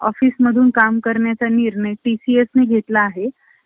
office मधून काम करण्याचा निर्णय TCS ने घेतला आहे ,